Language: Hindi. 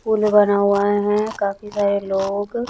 पूल बनवाए हैं काफी सारे लोग--